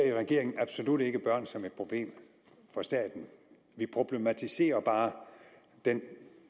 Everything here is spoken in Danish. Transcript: i regeringen ser vi ikke børn som værende et problem for staten vi problematiserer bare den